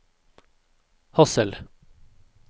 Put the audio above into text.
Hadsel